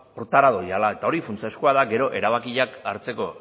horretara doala eta hori funtsezkoa da gero erabakiak hartzeko